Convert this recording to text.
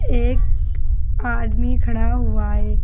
एक आदमी खड़ा हुआ है।